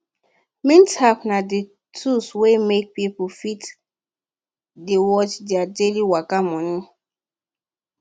mint app na the tool wey make pipo fit dey watch their daily waka money